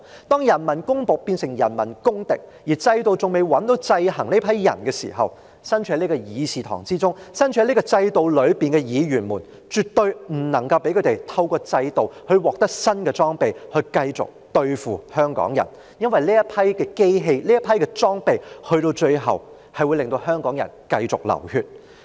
當人民公僕變成人民公敵，而制度中仍未有制衡這些人的方法時，身處會議廳中、身處制度內的議員，便絕對不能夠讓警務處透過制度而獲得新的裝備來繼續對付香港人，因為這批機械和裝備最終會令香港人繼續流血。